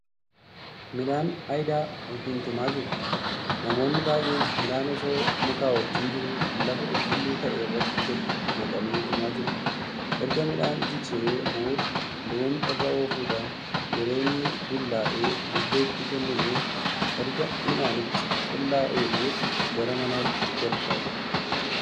Midhaan ayiidaa(tumaa)jiru. namoonnii baay'een midhaan osoo muka wajjiin jiruu lafa qulqulluu ta'e irratti gadi naqanii tumaa jiru. erga midhaan jigsinee booda loon irra oofudhaan yeroo inni bullaa'e bubbeetti kenninee erga midhaanichi qulqullaa'ee booda gara manatti galfama.